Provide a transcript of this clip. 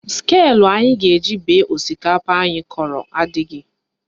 Sịkulụ anyị ga-eji bee osikapa anyị kọrọ adịghị